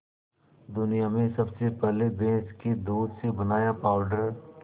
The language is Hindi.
दुनिया में सबसे पहले भैंस के दूध से बनाया पावडर